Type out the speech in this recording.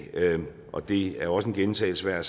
og det er også en gentagelse af